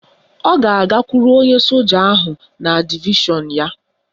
Ọ ga-agakwuru onye soja ahụ na divishọn ya